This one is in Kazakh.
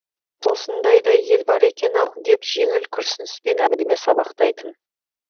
осындай да ел бар екен ау деп жеңіл күрсініспен әңгіме сабақтайтын